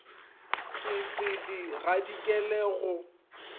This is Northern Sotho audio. ka se di gadikele go